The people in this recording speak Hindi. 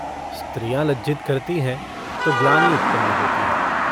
स्त्रियाँ लज्जित करती हैं तो ग्लानि उत्पन्न होती है।